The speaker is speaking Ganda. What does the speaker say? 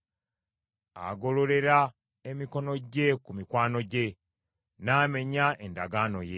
Agololera emikono gye ku mikwano gye; n’amenya endagaano ye.